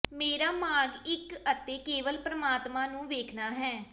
ਮੇਰਾ ਮਾਰਗ ਇੱਕ ਅਤੇ ਕੇਵਲ ਪਰਮਾਤਮਾ ਨੂੰ ਵੇਖਣਾ ਹੈ